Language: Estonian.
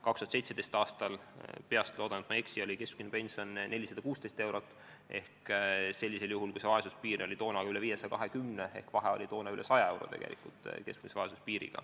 2017. aastal oli keskmine pension 416 eurot ja kui vaesuspiir oli toona üle 520, siis vahe oli üle 100 euro.